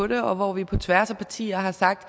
det og hvor vi på tværs af partierne har sagt